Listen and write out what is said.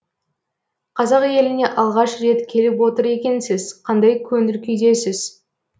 қазақ еліне алғаш рет келіп отыр екенсіз қандай көңіл күйдесіз